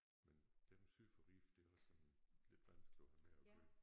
Men dem syd for Ribe det er også sådan lidt vanskeligt at have med at gøre